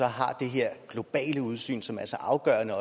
har det her globale udsyn som er så afgørende